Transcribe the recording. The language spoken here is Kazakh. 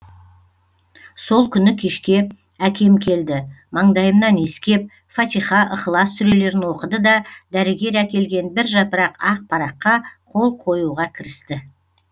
сол күні кешке әкем келді маңдайымнан иіскеп фатиха ыхлас сүрелерін оқыды да дәрігер әкелген бір жапырақ ақ параққа қол қоюға кірісті